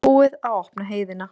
Búið að opna heiðina